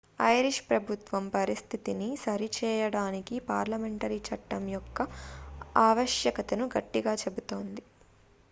Irish ప్రభుత్వం పరిస్థితిని సరిచేయడానికి పార్లమెంటరీ చట్టం యొక్క ఆవశ్యకతను గట్టిగా చెబుతోంది